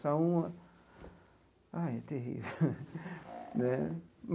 Só um... Ah, é terrível né?